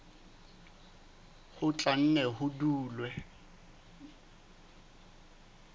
ho tla nne ho dule